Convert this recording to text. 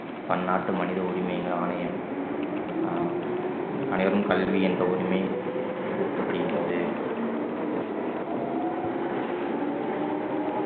பன்னாட்டு மனித உரிமைகள் ஆணையம் ஆஹ் அனைவரும் கல்வி என்ற உரிமை புகுத்தப்படுகின்றது